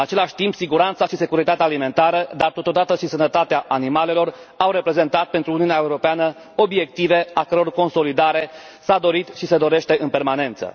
În același timp, siguranța și securitatea alimentară, dar totodată și sănătatea animalelor au reprezentat pentru Uniunea Europeană obiective a căror consolidare s a dorit și se dorește în permanență.